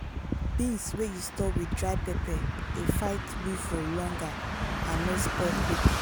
beans wey you store with dry pepper dey fight weevil longer and no spoil quick.